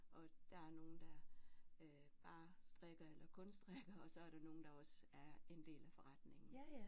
Og der er nogle der øh bare strikker eller kun strikker og så er der nogle der også er en del af forretningen